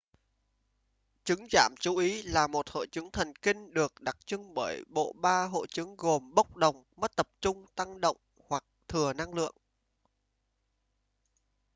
chứng giảm chú ý là một hội chứng thần kinh được đặc trưng bởi bộ ba hội chứng gồm bốc đồng mất tập trung tăng động hoặc thừa năng lượng